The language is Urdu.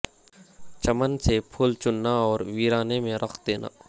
چمن سے پھول چننا اور ویرانے میں رکھ دینا